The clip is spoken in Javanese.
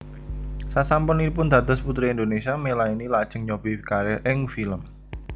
Sasampunipun dados Puteri Indonésia Melanie lajeng nyobi kariér ing film